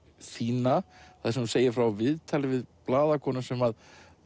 þína þar sem þú segir frá viðtali við blaðakonu sem